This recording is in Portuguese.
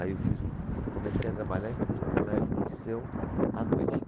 Aí eu fiz o, comecei a trabalhar e fui fazer o colégio no liceu à noite.